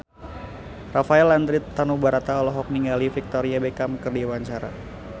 Rafael Landry Tanubrata olohok ningali Victoria Beckham keur diwawancara